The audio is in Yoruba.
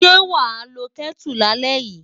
Ṣé wàá lo Kẹ́tù lálẹ́ yìí?